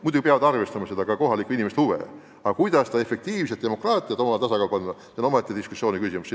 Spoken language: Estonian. Muidugi peab arvestama ka kohalike inimeste huve, aga kuidas efektiivsust ja demokraatiat tasakaalu panna, see on omaette diskussiooni küsimus.